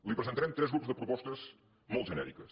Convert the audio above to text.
li presentarem tres grups de propostes molt genèriques